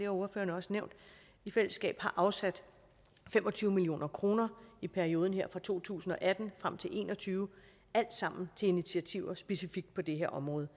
af ordførerne også nævnt i fællesskab har afsat fem og tyve million kroner i perioden her fra to tusind og atten frem til og en og tyve alt sammen til initiativer specifikt på det her område